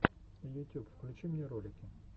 ютюб включи мне ролики